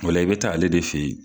O la i bɛ taa ale de fɛ ye.